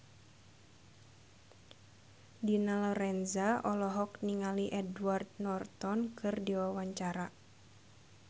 Dina Lorenza olohok ningali Edward Norton keur diwawancara